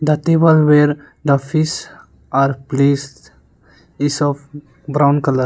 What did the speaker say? the table where the fish are placed is of brown colour.